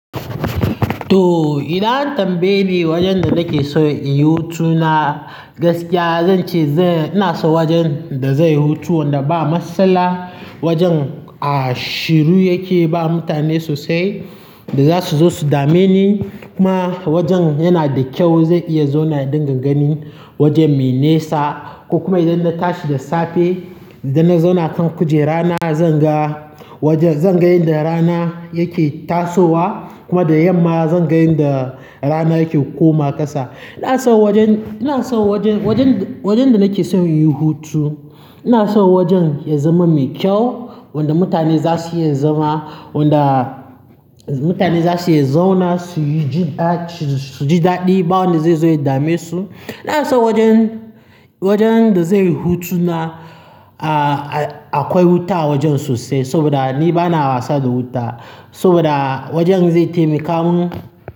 To, idan an tambayi meye wajen da nake so inyi hutuna, gaskiya zan ce zan-- ina so wajen da zai yi hutu wanda ba matsala, wajen a shiru yake ba mutane sosai da za su zo su dame ni. Kuma wajen yana da kyau zai iya zauna dinga gani, wajen mai nesa ko kuma idan na tashi da safe, idannna zauna kan kujera na, zan ga wajen-- zan ga inda rana yake tasowa kuma da yamma zan ga inda rana yake koma ƙasa. Ina so wajen, ina so wajen, wajen, wajen da nake son inyin hutu, ina so wajen ya zama mai kyau wanda mutane za su iya zama, wanda mutane za su iya zauna suyi ji daɗi, suji daɗi ba wanda zai zo ya dame su. Ina so wajen, wajen da zai yi hutuna a, a akwai wuta a wajen sosai saboda ni bana wasa da wuta saboda wajen zai taimaka mun.